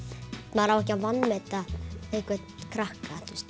maður á ekki að vanmeta einhvern krakka